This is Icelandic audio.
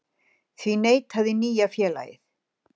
Því neitaði nýja félagið